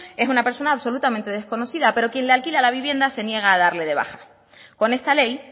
es una persona absolutamente desconocida pero quien le alquila la vivienda se niega a darle de baja con esta ley